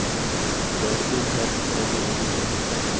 Det är en fin häst som är billigt inne.